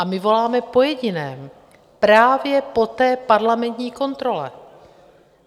A my voláme po jediném: právě po té parlamentní kontrole.